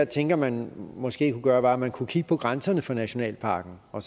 tænker man måske kunne gøre var at man kunne kigge på grænserne for nationalparkerne og